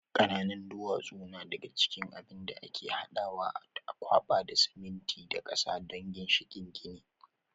ƙananan duwatsu na daga cikin abin da ake hadawa a kwaɓa da siminti da ƙasa don ginshikin gini.